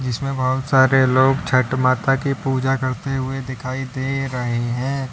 इसमें बहुत सारे लोग छठ माता की पूजा करते हुए दिखाई दे रहे हैं।